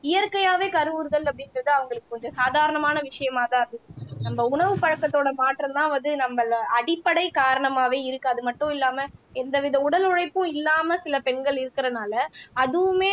இயற்கையாவே கருவுறுதல் அப்படின்றது அவங்களுக்கு கொஞ்சம் சாதாரணமான விஷயமாதான் இருந்துச்சு நம்ம உணவு பழக்கத்தோட மாற்றம் தான் வந்து நம்மள்ல அடிப்படை காரணமாவே இருக்கு அது மட்டும் இல்லாம எந்தவித உடல் உழைப்பும் இல்லாம சில பெண்கள் இருக்கறதுனால அதுவுமே